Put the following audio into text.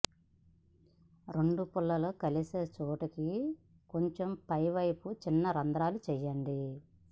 రెండు పుల్లలు కలిసే చోటుకి కొంచెం పైవైపు చిన్న రంధ్రాలు చేయండి